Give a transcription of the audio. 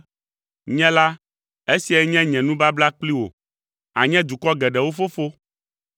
“Nye la, esiae nye nye nubabla kpli wò: ànye dukɔ geɖewo fofo.”